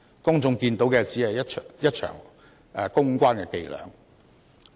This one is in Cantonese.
市民見到的，只是一場公關伎倆。